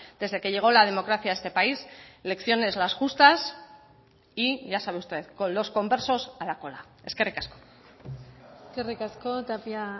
desde que llegó la democracia a este país lecciones las justas y ya sabe usted con los conversos a la cola eskerrik asko eskerrik asko tapia